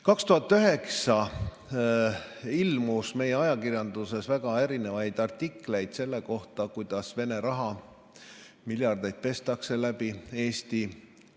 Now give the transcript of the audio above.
2009 ilmus meie ajakirjanduses mitmesuguseid artikleid selle kohta, kuidas Vene raha, miljardeid, pestakse läbi Eesti.